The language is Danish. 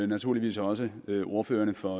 naturligvis også ordførerne for